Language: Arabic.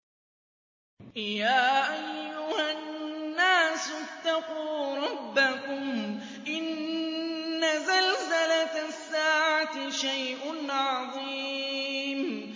يَا أَيُّهَا النَّاسُ اتَّقُوا رَبَّكُمْ ۚ إِنَّ زَلْزَلَةَ السَّاعَةِ شَيْءٌ عَظِيمٌ